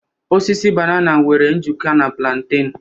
Osisi banana nwere njikọ na plantain